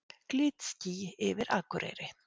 Glitský yfir Akureyri